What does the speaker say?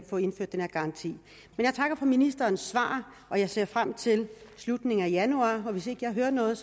få indført den her garanti men jeg takker for ministerens svar og jeg ser frem til slutningen af januar og hvis ikke jeg hører noget